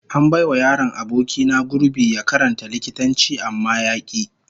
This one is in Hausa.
An bai wa yaron aboki na gurbi ya karanta likitanci amma ya ki